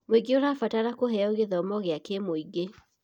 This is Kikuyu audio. Mũingĩ ũrabatara kũheo gĩthomo kĩa kĩmũingĩ.